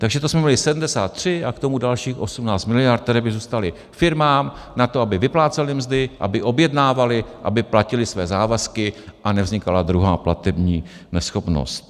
Takže to jsme měli 73 a k tomu dalších 18 miliard, které by zůstaly firmám na to, aby vyplácely mzdy, aby objednávaly, aby platily své závazky a nevznikala druhá platební neschopnost.